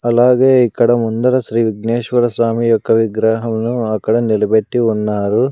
అలాగే ఇక్కడ ముందర శ్రీ విఘ్నేశ్వర స్వామి యొక్క విగ్రహంలో అక్కడ నిలబెట్టి ఉన్నారు.